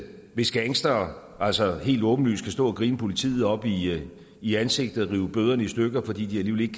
hvis gangstere altså helt åbenlyst skal stå og grine politiet op i i ansigtet og rive bøderne i stykker fordi de